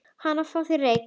Hana, fáðu þér reyk